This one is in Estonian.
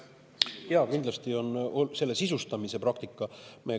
Jaa, see on selle sisustamise praktika.